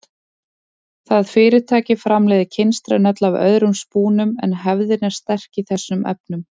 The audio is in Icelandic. Það fyrirtæki framleiðir kynstrin öll af öðrum spúnum en hefðin er sterk í þessum efnum.